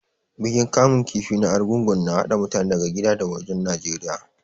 Bikin kamun kifi na Arugungu na haɗa mutane daga gida da wajen Najeriya.